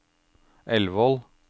Elvål